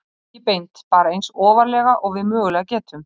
Ekki beint, bara eins ofarlega og við mögulega getum.